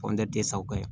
tɛ sa o ka ɲi